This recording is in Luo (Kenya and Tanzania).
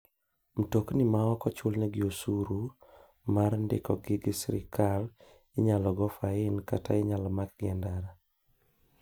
Mtokni ma ok ochulnegi osuri mar ndikogi gi sirkal inyal go fain kata inyak makgi e ndara.